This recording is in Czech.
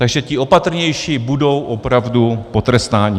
Takže ti opatrnější budou opravdu potrestáni.